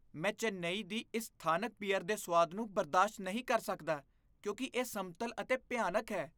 ਮੈਂ ਚੇਨੱਈ ਦੀ ਇਸ ਸਥਾਨਕ ਬੀਅਰ ਦੇ ਸੁਆਦ ਨੂੰ ਬਰਦਾਸ਼ਤ ਨਹੀਂ ਕਰ ਸਕਦਾ ਕਿਉਂਕਿ ਇਹ ਸਮਤਲ ਅਤੇ ਭਿਆਨਕ ਹੈ।